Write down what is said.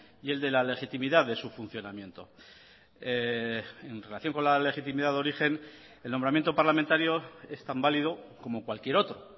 y el de la legitimidad de su funcionamiento en relación con la legitimidad de origen el nombramiento parlamentario es tan válido como cualquier otro